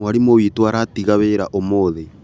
Mwarimũ witũ aratiga wĩra ũmũthĩ